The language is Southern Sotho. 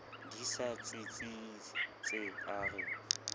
di sa tsitsitse a re